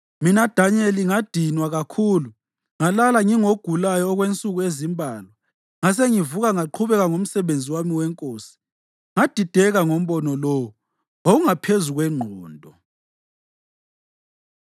Mina Danyeli, ngadinwa kakhulu ngalala ngingogulayo okwensuku ezimbalwa. Ngasengivuka ngaqhubeka ngomsebenzi wami wenkosi. Ngadideka ngombono lowo; wawungaphezu kwengqondo.